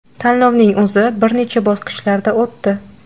Tanlovning o‘zi bir necha bosqichlarda o‘tdi.